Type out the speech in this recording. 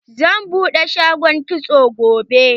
Zan buɗe shagon kitso gobe.